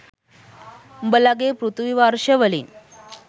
උබලගේ පෘතුවි වර්ෂ වලින්